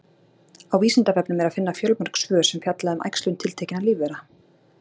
á vísindavefnum er að finna fjölmörg svör sem fjalla um æxlun tiltekinna lífvera